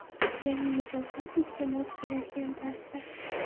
Ya’ni mijozlar didiga mos keladigan tarzda.